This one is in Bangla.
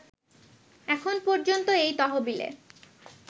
এখন পর্যন্ত এই তহবিলে